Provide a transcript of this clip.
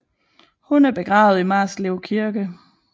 Hun er begravet i Marslev Kirke